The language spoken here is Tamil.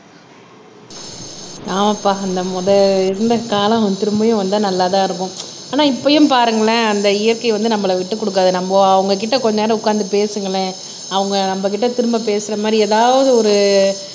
ஆமாப்பா அந்த முத இருந்த காலம் திரும்பவும் வந்தா நல்லா தான் இருக்கும் ஆனா இப்பயும் பாருங்களேன் அந்த இயற்கை வந்து நம்மள விட்டுக் கொடுக்காது நம்ம அவங்க கிட்ட கொஞ்ச நேரம் உட்கார்ந்து பேசுங்களேன் அவங்க நம்ம கிட்ட திரும்ப பேசுற மாதிரி ஏதாவது ஒரு